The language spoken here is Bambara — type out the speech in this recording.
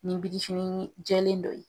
Ni binifini jɛlen dɔ ye.